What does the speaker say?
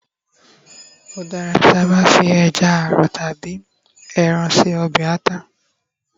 o dara kiba fi eja arọ tabi ẹran se ọbè ata